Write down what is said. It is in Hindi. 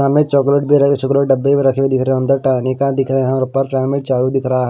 चॉकलेट भी रखे शुगर के डब्बे भी रखे हुए दिख रहे हैं अंदर टानिका दिख रहे हैं और उपर फ्रेम में दिख रहा है।